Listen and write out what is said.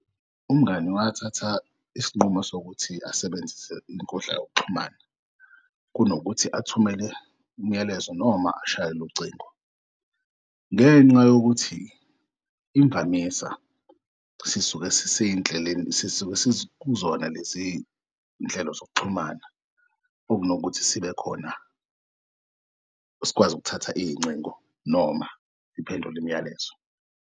Umngani wathatha isinqumo sokuthi asebenzise inkundla yokuxhumana kunokuthi athumele umyalezo noma ashayele ucingo. Ngenxa yokuthi imvamisa sisuke sisey'ndleleni sisuke sikuzona leziy'nhlelo zokuxhumana okunokuthi sibekhona sikwazi ukuthatha iy'ngcingo noma siphendul'myalezo.